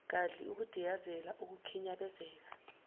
gadli ukudiyazela ukukhinyabezeka